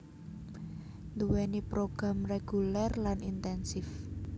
nduwèni program reguler lan intensif